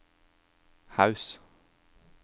Haus